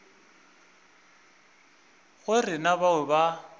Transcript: go re na bao ba